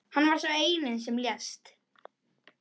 Hann var sá eini sem lést